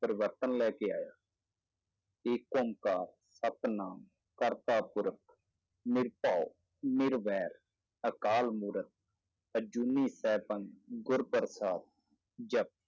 ਪਰਿਵਰਤਨ ਲੈ ਕੇ ਆਇਆ ਏਕੰਕਾਰ ਸਤਿਨਾਮ ਕਰਤਾਪੁਰਖ ਨਿਰਭਉ ਨਿਰਵੈਰ ਅਕਾਲਮੂਰਤਿ ਅਜੂਨੀ ਸੈਭੰ ਗੁਰ ਪ੍ਰਸਾਦਿ ਜਪੁ